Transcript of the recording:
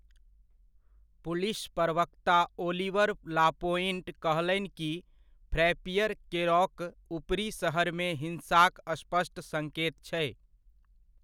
Police प्रवक्ता Oliver Lapointe कहलनि कि फ्रैपीयर केरौक ऊपरी शरीरमे हिंसाक स्पष्ट सङ्केत छै।